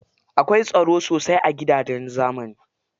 Akwai tsaron sosai a gidajen zamani.